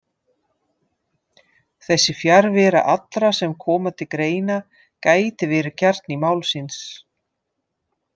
Þessi fjarvera allra sem koma til greina gæti verið kjarni málsins.